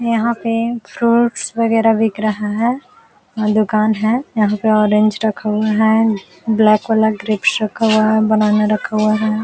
यहां पे फ्रूट्स वगैरह बिक रहा है और दुकान है यहां पे ऑरेंज रखा हुआ है । ब्लैक वाला ग्रपेस रखा हुआ है । बनाना रखा हुआ है।